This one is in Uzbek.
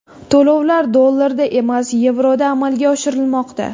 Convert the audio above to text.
To‘lovlar dollarda emas, yevroda amalga oshirilmoqda.